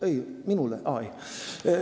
Ei, minule?